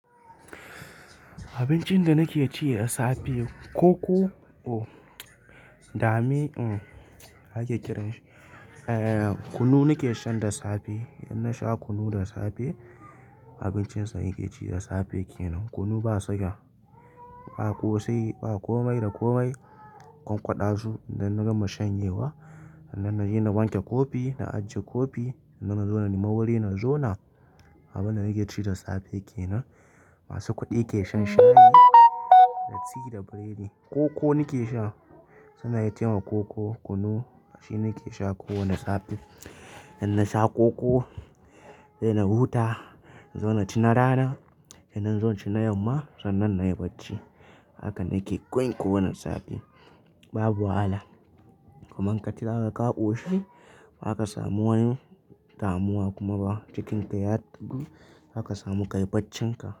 Abincin da nake ci da safe koko oh dame um ake kiranshi, eh kunu nake shan da safe in na sha kunu da safe abincin sa naye ci da safe kenan. Kunu ba siga ba ƙosai, ba komai da komai ƙwanƙwada su, idan na gama shanyewa nan na je na wanke kofi na ajiye kofi sannan na zo na na nema wari na zona. Abin da nake ci da safe kenan. Masu kudi ke shan shayi da ti da biredi. Koko nake sha sannan ya taima, koko, kunu shi nake sha kowane safe. Idan na sha koko sai na huta na zo na ci na rana sannan in zo inci na yamma sannan na yi barci. Haka nake koyin kowane safe babu wahala. Kuma in ka ci haka ka ƙoshi baka samu wani damuwa kuma ba cikinka ya tafi haka samu kai baccinka.